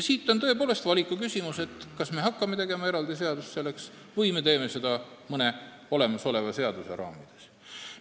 On tõepoolest valikuküsimus, kas me hakkame selleks tegema eraldi seadust või me teeme seda mõne olemasoleva seaduse raamides.